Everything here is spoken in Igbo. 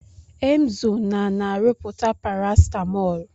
Emzo na-na-arụpụta parasetamol